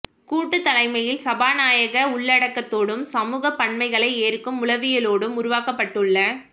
கூட்டுத் தலைமையில் சனநாயக உள்ளடக்கத்தோடும் சமூகப் பன்மைகளை ஏற்கும் உளவியலோடும் உருவாக்கப்பட்டுள்ள